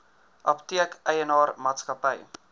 apteek eienaar maatskappy